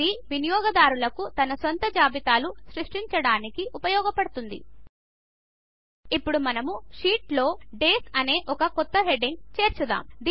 ఇది వినియోగదారులకు తన సొంత జాబితాలు సృష్టించడానికి ఉపయోగపడుతుంది ఇప్పుడు మన షీట్లో డేస్ అనే ఒక కొత్త హెడ్డింగ్ చేర్చుదాం